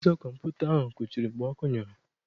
Ụzọ kọmputa ahụ kụchiri mgbe ọkụ nyụrụ.